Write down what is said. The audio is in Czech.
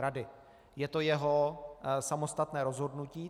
Je to jeho samostatné rozhodnutí.